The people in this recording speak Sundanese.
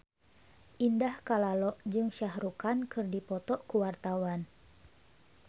Indah Kalalo jeung Shah Rukh Khan keur dipoto ku wartawan